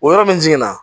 O yɔrɔ min jiginna